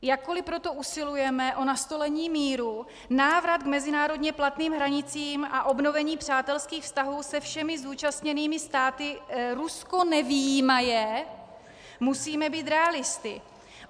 Jakkoli proto usilujeme o nastolení míru, návrat k mezinárodně platným hranicím a obnovení přátelských vztahů se všemi zúčastněnými státy, Rusko nevyjímaje, musíme být realisty.